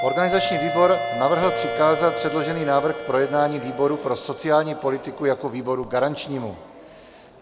Organizační výbor navrhl přikázat předložený návrh k projednání výboru pro sociální politiku jako výboru garančnímu.